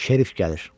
Şerif gəlir.